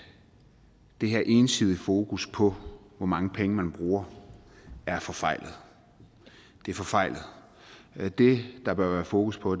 det her ensidige fokus på hvor mange penge man bruger er forfejlet det er forfejlet det der bør være fokus på